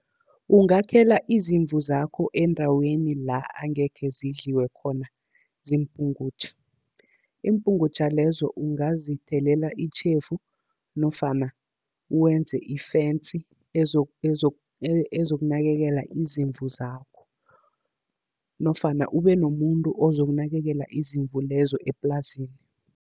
Ungakhela izimvu zakho endaweni la angekhe zidliwe khona ziimpungutjha. Iimpungutjha lezo ungazithelela itjhefu nofana wenze i-fence ezokunakekela izimvu zakho. Nofana ube nomuntu ozokunakekela izimvu lezo eplasini.